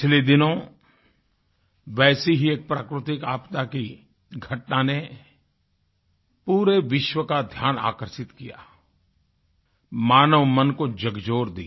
पिछले दिनों वैसे ही एक प्राकृतिक आपदा की घटना ने पूरे विश्व का ध्यान आकर्षित किया मानवमन को झकझोर दिया